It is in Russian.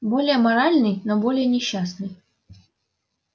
более моральный но более несчастный